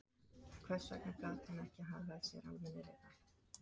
Hvers vegna gat hann ekki hagað sér almennilega?